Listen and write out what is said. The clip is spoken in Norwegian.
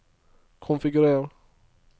konfigurer